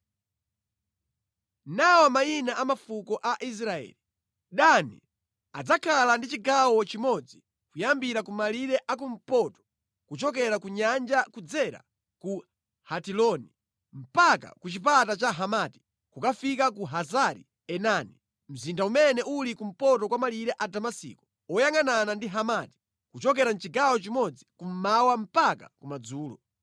“Nawa mayina a mafuko a Israeli: Dani adzakhala ndi chigawo chimodzi kuyambira kumalire akumpoto kuchokera ku nyanja kudzera ku Hetiloni mpaka ku chipata cha Hamati, kukafika ku Hazari-Enani, mzinda umene uli kumpoto kwa malire a Damasiko oyangʼanana ndi Hamati, kuchokera mʼchigawo chimodzi kummawa mpaka kumadzulo.